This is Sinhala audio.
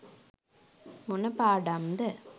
මොන පාඩම්ද